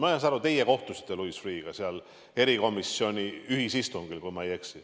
Ma saan aru, et teie kohtusite Louis Freeh'ga seal erikomisjoni ühisistungil, kui ma ei eksi.